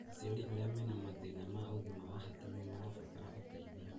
Aciari arĩa mena mathĩna ma ũgima wa hakiri nĩ marabatara ũteithio